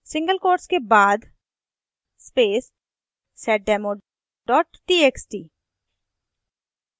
single quotes के बाद seddemo txt